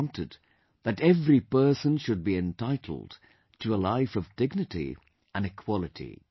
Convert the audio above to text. He wanted that every person should be entitled to a life of dignity and equality